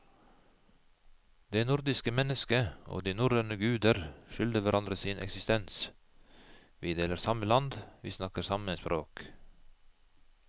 Det nordiske mennesket og de norrøne guder skylder hverandre sin eksistens, vi deler samme land, vi snakker samme språk.